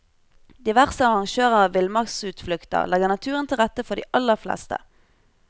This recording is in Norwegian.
Diverse arrangører av villmarksutflukter legger naturen til rette for de aller fleste.